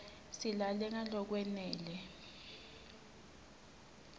silale ngalokwanele